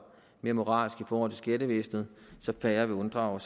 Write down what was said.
mere moralsk over for skattevæsenet så færre vil unddrage